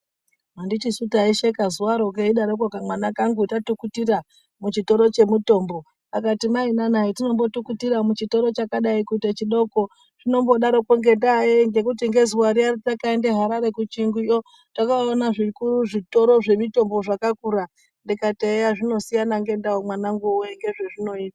Handitisu taisheka zuvaro keidaroko kamwana kangu tatukutira muchitoro chemutombo. Akati maina nai zvatinombotukutira muchitoro chakadai kuite chidoko zvinombodaroko ngendaa yei ngekuti nezuvaro ratakaenda harare kuchiyunguyo yakaona zvitoro zvemitombo zvakakura. Ndikati eya zvinosiyana ngendau mwanangu voye ndezvezvinoita.